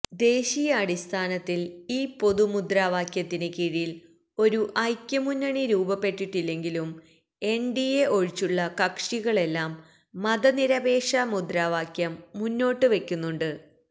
ദേശീയാടിസ്ഥാനത്തിൽ ഈ പൊതുമുദ്രാവാക്യത്തിന് കീഴിൽ ഒരു ഐക്യമുന്നണി രുപപ്പെട്ടിട്ടില്ലെങ്കിലും എൻഡിഎ ഒഴിച്ചുളള കക്ഷികളെല്ലാം മതനിരപേക്ഷ മുദ്രാവാക്യം മുന്നോട്ടുവെക്കുന്നുണ്ട്